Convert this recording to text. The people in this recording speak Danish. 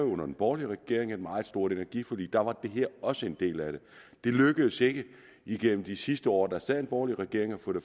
under den borgerlige regering lavede et meget stort energiforlig der var det her også en del af det det lykkedes ikke igennem de sidste år der sad en borgerlig regering at få det